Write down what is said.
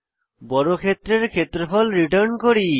বর্গক্ষেত্রের ক্ষেত্রফল রিটার্ন করি